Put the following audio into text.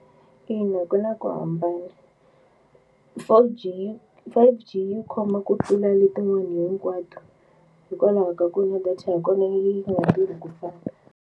Ina, ku na ku hambana Four-G Five-G yi khoma ku tlula letin'wani hinkwato hikwalaho ka ku na data ya kona yi nga tirhi ku fana.